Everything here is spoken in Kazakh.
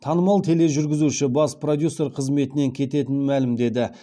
танымал тележүргізуші бас продюсер қызметінен кететінін мәлімдеді